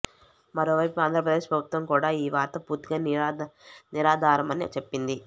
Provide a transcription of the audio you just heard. మరోవైపు ఆంధ్రప్రదేశ్ ప్రభుత్వం కూడా ఈ వార్త పూర్తిగా నిరాధారమని చెప్పింది